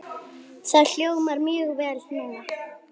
Það hljómar mjög vel núna.